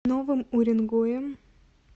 новым уренгоем